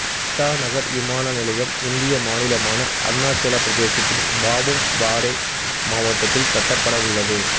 இட்டாநகர் விமான நிலையம் இந்திய மாநிலமான அருணாச்சலப் பிரதேசத்தின் பாபும் பாரே மாவட்டத்தில் கட்டப்பட்டவுள்ளது